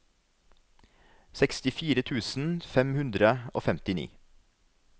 sekstifire tusen fem hundre og femtini